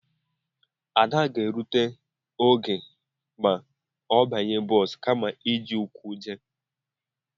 Ada ga-erute n'oge ma ọ banye bọs kama iji ụkwụ jee